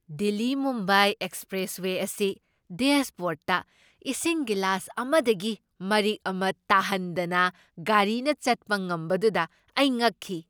ꯗꯤꯜꯂꯤ, ꯃꯨꯝꯕꯥꯏ ꯑꯦꯛꯁꯄ꯭ꯔꯦꯁꯋꯦ ꯑꯁꯤ ꯗꯦꯁꯕꯣꯔꯗꯇ ꯏꯁꯤꯡ ꯒꯤꯂꯥꯁ ꯑꯃꯗꯒꯤ ꯃꯔꯤꯛ ꯑꯃ ꯇꯥꯍꯟꯗꯅ ꯒꯥꯔꯤꯅ ꯆꯠꯄ ꯉꯝꯕꯗꯨꯗ ꯑꯩ ꯉꯛꯈꯤ꯫